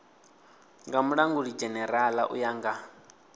nga mulangulidzhenerala u ya nga